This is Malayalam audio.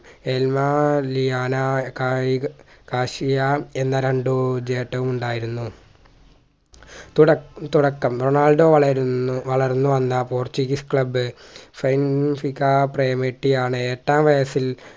എല്മ ലിയാന കായിക കാസിയ എന്ന രണ്ടു ഉണ്ടായിരുന്നു തുട തുടക്കം റൊണാൾഡോ വളരുന്നു വളർന്നു വന്ന പോർച്ചുഗീസ് club ആണ് എട്ടാം വയസ്സിൽ